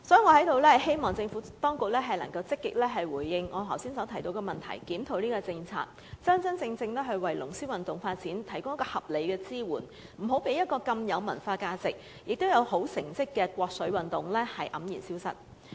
我希望政府當局能夠積極回應我剛才提及的問題，檢討有關政策，真正為龍獅運動發展提供合理的支援，不要讓一種如此具文化價值，並且獲得優良成績的國粹運動黯然消失。